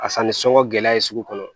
A sanni sɔngɔ gɛlɛya ye sugu kɔnɔ